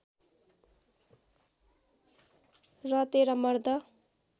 रतें र मर्द